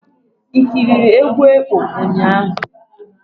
I ekiri egwu ekpo ụnyaahụ?